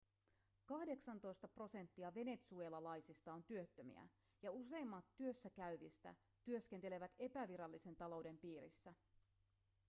kahdeksantoista prosenttia venezuelalaisista on työttömiä ja useimmat työssä käyvistä työskentelevät epävirallisen talouden piirissä